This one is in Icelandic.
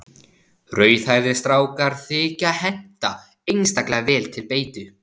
Rauðhærðir strákar þykja henta einstaklega vel til beitu.